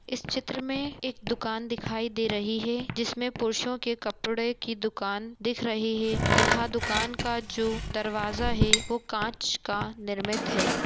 इस चित्र मैं एक दुकान दिखाई दे रही है जिसमें पुरुषो के कपड़े की दुकान दिख रही है तथा दुकान का जो दरवाजा है वो कांच का निर्मित है।